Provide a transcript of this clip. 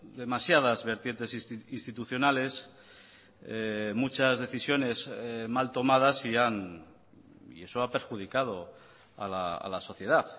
demasiadas vertientes institucionales muchas decisiones mal tomadas y eso ha perjudicado a la sociedad